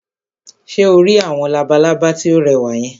Ṣé o rí àwọn labalábá tí ó rẹwà yẹn?